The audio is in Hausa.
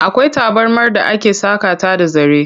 Akwai tabarmar da ake saƙa ta da zare.